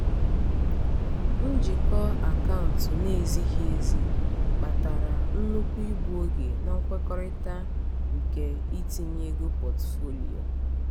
njikọ akaụntụ na-ezighi ezi kpatara nnukwu igbu oge na nkwekọrịta nke itinye ego pọtụfoliyo.